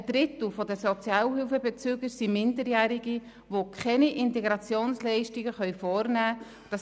Ein Drittel der Sozialhilfebezüger sind Minderjährige, die keine Integrationsleistungen vornehmen können.